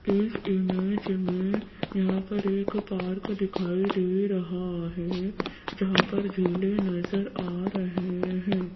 इस इमेज में यहां पर एक पार्क दिखाई दे रहा है जहां पर झूले नजर आ रहे हैं।